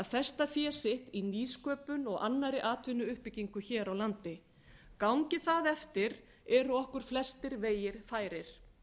festa fé sitt í nýsköpun og annarri atvinnuuppbyggingu hér á landi gangi það eftir eru okkur flestir vegir færir